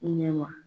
Ɲɛ ma